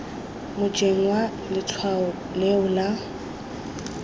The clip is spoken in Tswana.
mojeng wa letshwao leo la